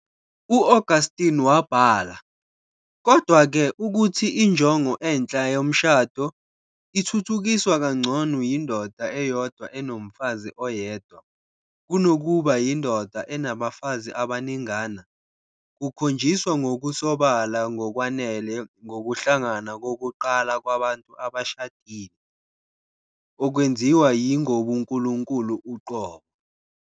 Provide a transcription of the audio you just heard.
U-Augustine wabhala, "Kodwa-ke, ukuthi injongo enhle yomshado, ithuthukiswa kangcono yindoda eyodwa enomfazi oyedwa, kunokuba yindoda enabafazi abaningana, kukhonjiswa ngokusobala ngokwanele ngokuhlangana kokuqala kwabantu abashadile, okwenziwa yi Ngobunkulunkulu uqobo.